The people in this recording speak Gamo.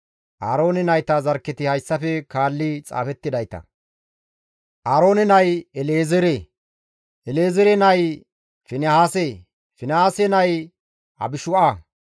Aaroone nayta zarkketi hayssafe kaalli xaafettidayta; Aaroone nay El7ezeere; El7ezeere nay Finihaase; Finihaase nay Abishu7a;